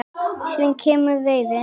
Síðan kemur reiðin.